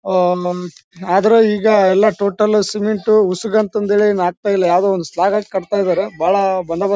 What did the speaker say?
ಓಹ್ಹ್ಹ್ ಹ್ಮ್ಮ್ಮ್ ಆದ್ರೂ ಈಗ ಎಲ್ಲ ಟೋಟಲ್ ಸಿಮೆಂಟ್ ಉಸಗು ಅಂತ ಹೇಳಿ ಆಗ್ತಾ ಇಲ್ಲ ಯಾವ್ದೋ ಒಂದು ಸ್ಲ್ಯಾಬ್ ಹಾಕಿ ಕಟ್ಟತ್ತ ಇದ್ದಾರೆ ಬಹಳ ಬಂದೋಬಸ್--